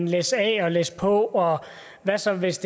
læsse af og læsse på og hvad så hvis